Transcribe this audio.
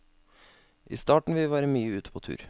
I starten vil vi være mye ute på tur.